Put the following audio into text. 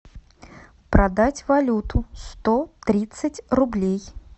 продать валюту сто тридцать рублей